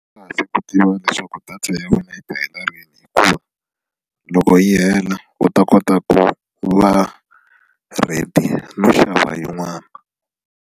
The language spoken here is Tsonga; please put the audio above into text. Swi kahle ku tiva leswaku data ya wena yi ta hela rini hikuva loko yi hela u ta kota ku va ready no xava yin'wana.